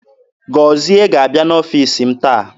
Gozie ga-abịa n'ọfiisi m taa.